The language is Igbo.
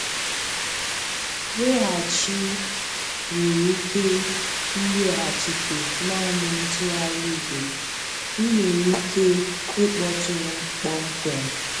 Nweghachi nwere ike ị nweghachite naanị ntụgharị igwe, ị nwere ike ịkpọtụrụ m kpọmkwem.